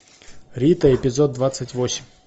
рита эпизод двадцать восемь